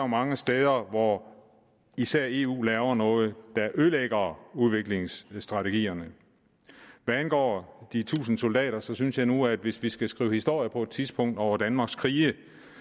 mange steder hvor især eu laver noget der ødelægger udviklingsstrategierne hvad angår de tusind soldater synes jeg nu at hvis vi skal skrive historie på et tidspunkt over danmarks krige